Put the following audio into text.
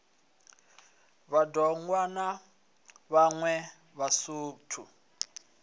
vhad ogwa na vhaṋwe vhasuthu